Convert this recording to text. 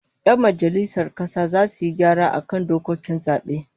Yan majalisar kasa zasu yi gyara ga dokokin zabe